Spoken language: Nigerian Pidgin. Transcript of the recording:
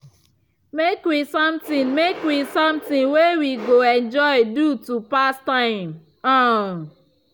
make we something make we something way we go enjoy do to pass time. um